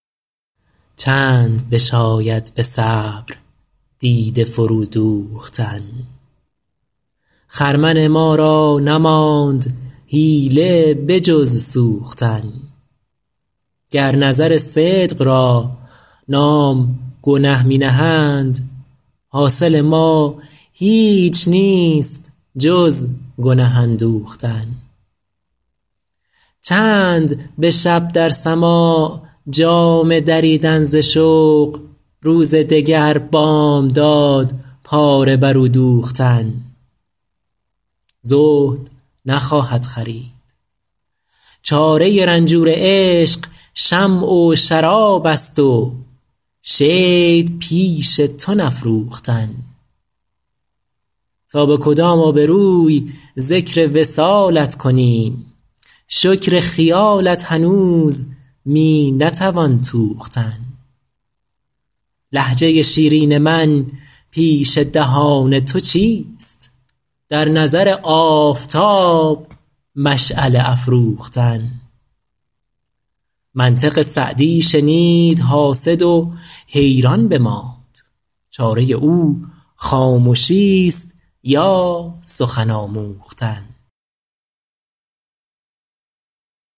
چند بشاید به صبر دیده فرو دوختن خرمن ما را نماند حیله به جز سوختن گر نظر صدق را نام گنه می نهند حاصل ما هیچ نیست جز گنه اندوختن چند به شب در سماع جامه دریدن ز شوق روز دگر بامداد پاره بر او دوختن زهد نخواهد خرید چاره رنجور عشق شمع و شراب است و شید پیش تو نفروختن تا به کدام آبروی ذکر وصالت کنیم شکر خیالت هنوز می نتوان توختن لهجه شیرین من پیش دهان تو چیست در نظر آفتاب مشعله افروختن منطق سعدی شنید حاسد و حیران بماند چاره او خامشیست یا سخن آموختن